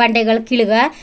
ಬಂಡೆ ಗಳ ಕೀಳ್ಗ --